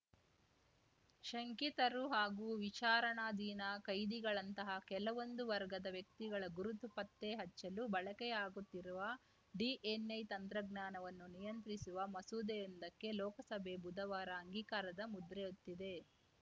ಶಂಕಿತರು ಹಾಗೂ ವಿಚಾರಣಾಧಿನ ಕೈದಿಗಳಂತಹ ಕೆಲವೊಂದು ವರ್ಗದ ವ್ಯಕ್ತಿಗಳ ಗುರುತು ಪತ್ತೆ ಹಚ್ಚಲು ಬಳಕೆಯಾಗುತ್ತಿರುವ ಡಿಎನ್‌ಎ ತಂತ್ರಜ್ಞಾನವನ್ನು ನಿಯಂತ್ರಿಸುವ ಮಸೂದೆಯೊಂದಕ್ಕೆ ಲೋಕಸಭೆ ಬುಧವಾರ ಅಂಗೀಕಾರದ ಮುದ್ರೆಯೊತ್ತಿದೆ